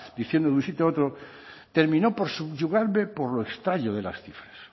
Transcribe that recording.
diciendo de un sitio a otro terminó por subyugarme por lo extraño de las cifras